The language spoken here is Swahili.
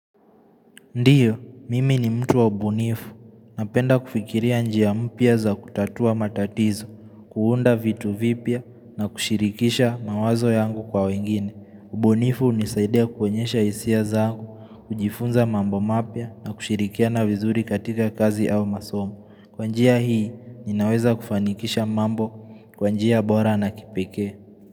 Ndiyo, mimi ni mtu wa ubunifu. Napenda kufikiria njia mpya za kutatua matatizo, kuunda vitu vipya na kushirikisha mawazo yangu kwa wengine. Ubunifu hunisaidia kwenyesha hisia zangu, kujifunza mambo mapya na kushirikia na vizuri katika kazi au masomo. Kwa njia hii, ninaweza kufanikisha mambo kwanjia bora na kipeke.